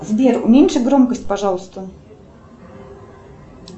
сбер уменьши громкость пожалуйста